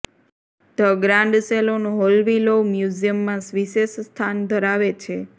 the grand salon હોલવીલોવ મ્યુઝિયમમાં વિશેષ સ્થાન ધરાવે છે